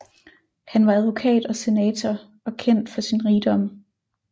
Han var advokat og senator og kendt for sin rigdom